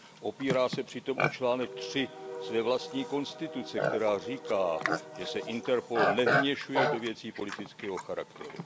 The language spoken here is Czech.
Opírá se přitom o článek 3 své vlastní konstituce, která říká, že se Interpol nevměšuje do věcí politického charakteru.